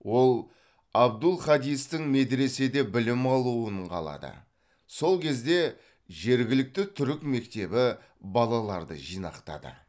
ол абдул хадистің медреседе білім алуын қалады сол кезде жергілікті түрік мектебі балаларды жинақтады